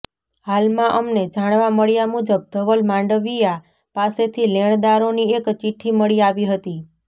હાલમાં અમને જાણવા મળ્યા મુજબ ધવલ માંડવીયા પાસેથી લેણદારોની એક ચિઠ્ઠી મળી આવી હતી